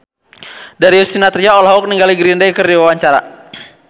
Darius Sinathrya olohok ningali Green Day keur diwawancara